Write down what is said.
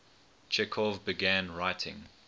chekhov began writing